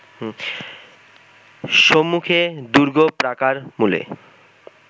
সম্মুখে দুর্গপ্রাকার-মূলে